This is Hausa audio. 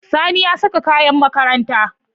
Sani ya saka kayan makaranta.